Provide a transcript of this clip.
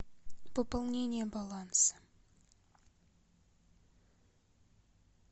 пополнение баланса